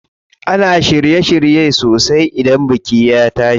Ana shirye shirye sosai idan biki ya tashi.